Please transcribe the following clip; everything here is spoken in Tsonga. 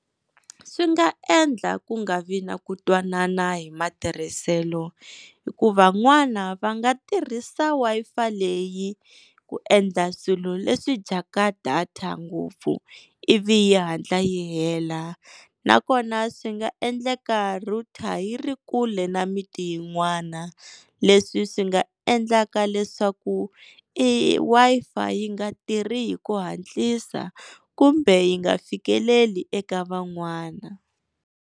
Swi nga endla ku nga vi na ku twanana hi matirhiselo hikuva van'wana va nga tirhisa Wi-Fi leyi ku endla swilo leswi dyaka data ngopfu ivi yi hatla yi hela nakona swi nga endleka router yi ri kule na miti yin'wana leswi swi nga endlaka leswaku i Wi-Fi yi nga tirhi hi ku hatlisa kumbe yi nga fikeleli eka van'wana.